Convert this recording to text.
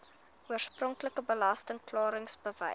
oorspronklike belasting klaringsbewys